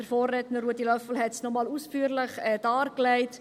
der Vorredner Ruedi Löffel hat dies nochmals ausführlich dargelegt.